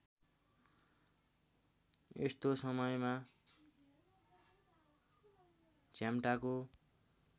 यस्तो समयमा झ्याम्टाको